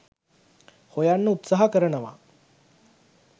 හොයන්න උත්සාහ කරනවා